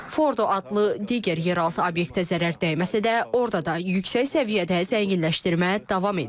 Fordo adlı digər yeraltı obyektə zərər dəyməsə də, orada da yüksək səviyyədə zənginləşdirmə davam edir.